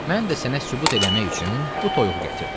Mən də sənə sübut eləmək üçün bu toyuğu gətirdim.